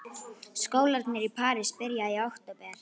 Skólarnir í París byrja í október.